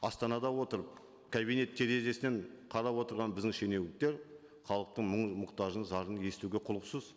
астанада отырып кабинет терезесінен қарап отырған біздің шенеуніктер халықтың мұң мұқтажын зарын естуге құлықсыз